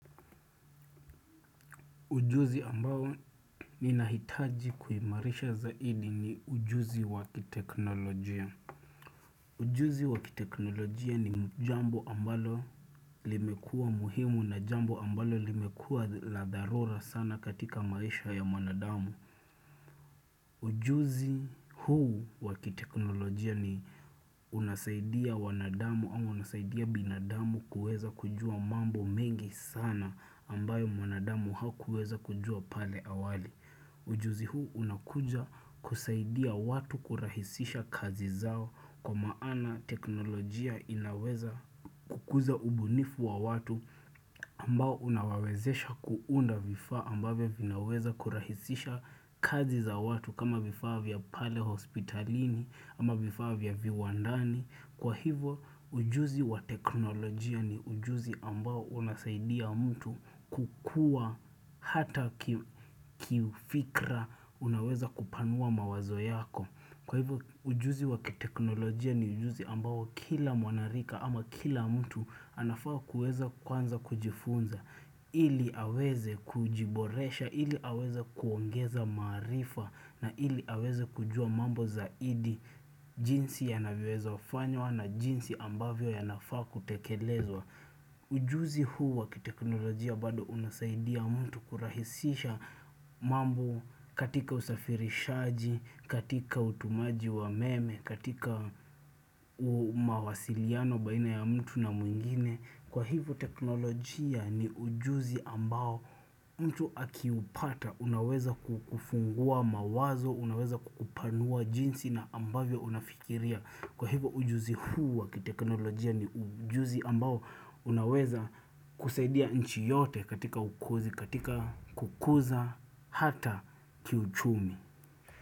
Ujuzi ambao ninahitaji kuhimarisha zaidi ni ujuzi wakiteknolojia. Ujuzi wakiteknolojia ni jambo ambalo limekuwa muhimu na jambo ambalo limekuwa la dharura sana katika maisha ya wanadamu. Ujuzi huu wakiteknolojia ni unasaidia wanadamu au unasaidia binadamu kuweza kujua mambo mengi sana ambayo mwnadamu hakuweza kujua pale awali. Ujuzi huu unakuja kusaidia watu kurahisisha kazi zao kwa maana teknolojia inaweza kukuza ubunifu wa watu ambao unawawezesha kuunda vifaa ambavyo vinaweza kurahisisha kazi za watu kama vifaa vya pale hospitalini ama vifaa vya viwandani. Kwa hivyo ujuzi wa teknolojia ni ujuzi ambao unasaidia mtu kukua hata kifikra unaweza kupanua mawazo yako. Kwa hivyo ujuzi wa teknolojia ni ujuzi ambao kila mwanarika ama kila mtu anafaa kuweza kwanza kujifunza. Ili aweze kujiboresha, ili aweze kuongeza maarifa na ili aweze kujua mambo zaidi jinsi yanavyweza fanywa na jinsi ambavyo yanafaa kutekelezwa. Ujuzi huu wa kiteknolojia bado unasaidia mtu kurahisisha mambo katika usafirishaji, katika utumaji wa meme, katika umawasiliano baina ya mtu na mwingine. Kwa hivyo teknolojia ni ujuzi ambao mtu akiupata unaweza kufungua mawazo, unaweza kukupanua jinsi na ambavyo unafikiria. Kwa hivyo ujuzi hu wa kiteknolojia ni ujuzi ambao unaweza kusaidia nchi yote katika ukuzi, katika kukuza, hata kiuchumi.